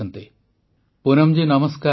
ପ୍ରଧାନମନ୍ତ୍ରୀ ପୁନମ ଜୀ ନମସ୍କାର